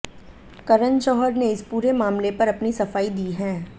करण जौहर ने इस पूरे मामले पर अपनी सफाई दी है